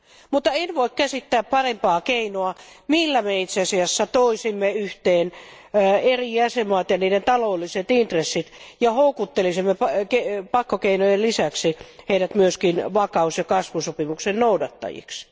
Mutta en voi käsittää parempaa keinoa, millä me itse asiassa toisimme yhteen eri jäsenvaltioiden ja niiden taloudelliset intressit ja houkuttelisimme pakkokeinojen lisäksi heidät myöskin vakaus ja kasvusopimuksen noudattajiksi.